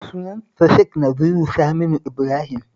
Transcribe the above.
Sunansa Sheikh Naziru Saminu Ibrahim